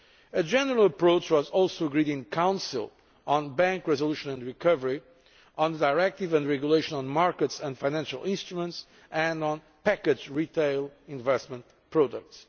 A general approach was also agreed in Council on bank resolution and recovery, on the directive and regulation on markets and financial instruments and on packaged retail investment products.